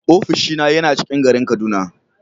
Ofishina yana ciƙin garin kaduna.